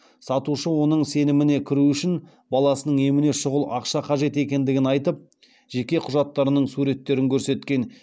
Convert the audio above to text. сатушы оның сеніміне кіру үшін баласының еміне шұғыл ақша қажет екендігін айтып жеке құжаттарының суреттерін көрсеткен